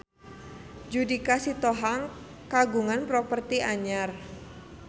Judika Sitohang kagungan properti anyar